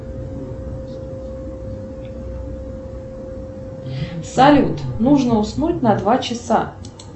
салют нужно уснуть на два часа